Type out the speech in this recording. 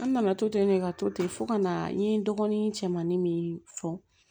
An nana to ten de ka to ten fo ka na n ye n dɔgɔnin cɛmanin min fɔ